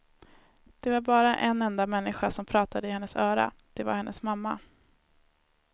Det var bara en enda människa som pratade i hennes öra, det var hennes mamma.